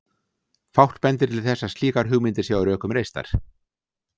Fátt bendir til þess að slíkar hugmyndir séu á rökum reistar.